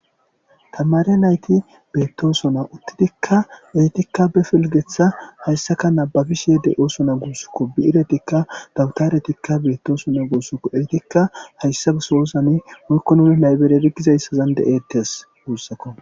Tamaare nayti beetosona uttidikka ettika be pilgeththa haysaka nababishe de'osonna guusukko bi'iretikka dabtaretikka beetosona guusukko ettika hayssa sohozani woykko nuni laybireri bizaysani de'etees guusakko.